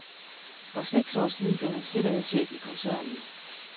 For seks år siden blev han sikkerhedschef i koncernen.